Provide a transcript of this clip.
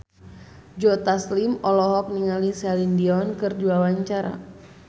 Joe Taslim olohok ningali Celine Dion keur diwawancara